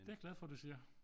Det er jeg glad for du siger